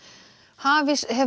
hafís hefur